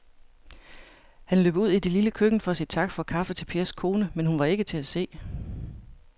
Han løb ud i det lille køkken for at sige tak for kaffe til Pers kone, men hun var ikke til at se.